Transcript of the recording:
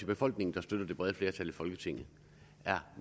befolkningen der støtter det brede flertal i folketinget er